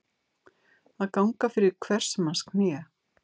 Að ganga fyrir hvers manns kné